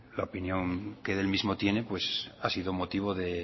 la opinión que del mismo tiene ha sido motivo de